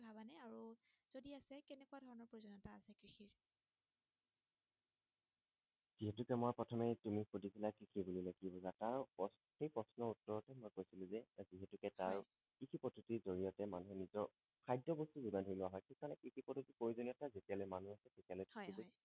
এইটো যে মই প্ৰথমে তুমি সুধিছিলা কৃষি বুলিলে কি বুজা তাৰ প্ৰচ সেই প্ৰশ্নৰ উত্তৰতে মই কৈছিলো যে যিহেতুকে তাৰ হয় কৃষি পদ্বতিৰ জৰিয়তে মানুহে নিজৰ খাদ্য বস্তু যোগান ধৰি লোৱা হয় সেই কাৰণে কৃষি পদ্বতি প্ৰয়োজনীয়তা যেতিয়ালৈ মানুহ যেতিয়ালৈ কুশল থাকিব হয় হয়